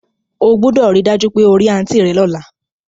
O gbúdọ̀ ri dájú pe o ri aunt rẹ lọ́la